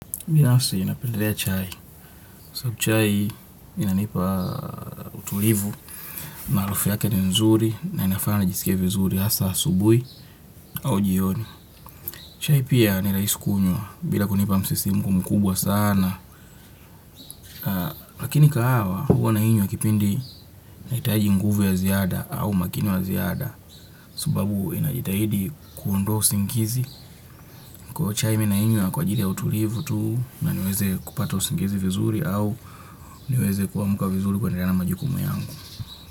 Binasi napendelea chai. Sababu chai inanipa utulivu. Na harufu yake ni nzuri na inafanya nijisike vizuri. Hasa asubui au jioni. Chai pia ni rahisi aisi kunywa. Bila kunipa msisimuko mkubwa sana. Lakini kahawa huwa nainywa kipindi nahitaji nguvu ya ziada au umakini wa ziada. Sababu inajitahidi kuondoa usingizi. Kwa hiyo chai mi nainywa kwa utulivu tu na niweze kupata usingizi vizuri au noweze kuamka vizuri kuendelea na majukumu yangu.